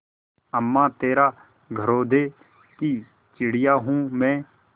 अम्मा तेरे घरौंदे की चिड़िया हूँ मैं